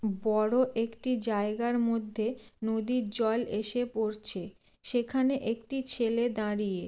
বড় একটি জায়গার মধ্যে নদীর জল এসে পড়ছে । সেখানে একটি ছেলে দাঁড়িয়ে।